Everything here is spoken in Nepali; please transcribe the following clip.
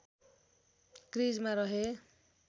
क्रिजमा रहे